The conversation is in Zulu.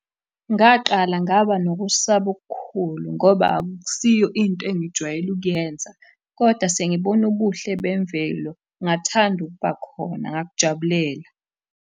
Ngaqala ngaba nokusaba okukhulu ngoba akusiyo into engijwayele ukuyenza, koda sengibone ubuhle bemvelo ngathanda ukuba khona ngakujabulela.